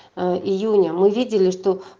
июня мы видели что